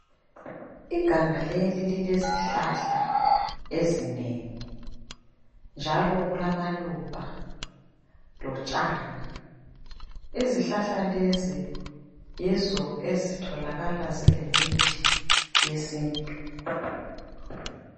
Iganga leli lilezihlahla ezinengi njalo kulamaluba lotshani. Izihlahla lezi yizo ezitholakala zilemithi yesintu.